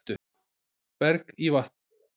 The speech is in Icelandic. Berg í vatn